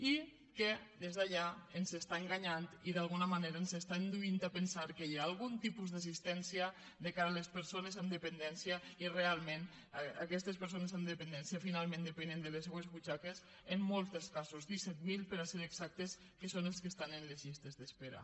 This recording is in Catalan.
i que des d’allà ens enganya i d’alguna manera ens indueix a pensar que hi ha algun tipus d’assistència de cara a les persones amb dependència i realment aquestes persones amb dependència finalment depenen de les seues butxaques en molts dels casos disset mil per a ser exactes que són les que estan en les llistes d’espera